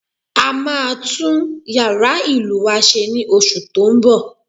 A máa tún yàrá ìlù wa se ní oṣù tó ń bọ̀